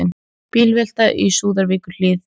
Bílvelta í Súðavíkurhlíð